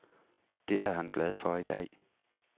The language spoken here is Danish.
Det er han glad for i dag.